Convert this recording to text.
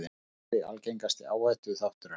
Var kaffi algengasti áhættuþátturinn